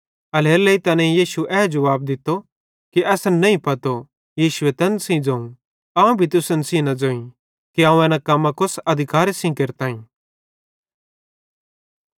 एल्हेरेलेइ तैनेईं यीशु एन जुवाब दित्तो कि असन नईं पतो यीशुए तैन सेइं ज़ोवं अवं भी तुसन सेइं न ज़ोईं कि अवं एन कम्मां कोस अधिकारे सेइं केरतईं